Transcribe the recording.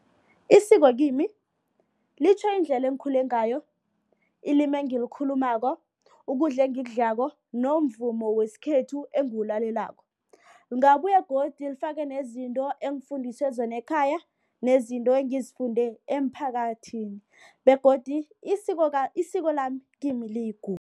Isiko kimi litjho indlela engikhule ngayo, ilimi engilikhulumako, ukudla engikudlako nomvumo wesikhethu engiwulalelako. Lingabuya godu lifake nezinto engifundiswa zona ekhaya nezinto engizifunde emphakathini begodu isiko lami kimi